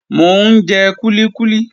Mò ń jẹ kúlíkúlí.